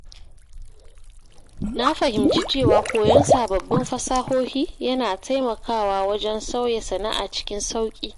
Na fahimci cewa koyon sababbin fasahohi yana taimakawa wajen sauya sana’a cikin sauƙi.